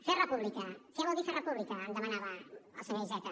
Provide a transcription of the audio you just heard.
fer república què vol dir fer república em demanava el senyor iceta